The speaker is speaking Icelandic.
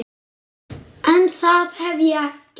En það hef ég gert.